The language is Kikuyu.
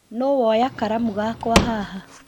Nũũ woya karamu gakwa haha